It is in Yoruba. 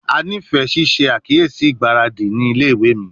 A nifẹ ṣiṣe akiyesi igbaradi ni ile-iwe mi